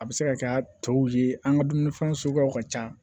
A bɛ se ka kɛ a tɔw ye an ka dumunifɛn suguyaw ka ca